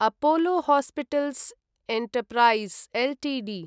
Apollo hospitals enterprise Ltd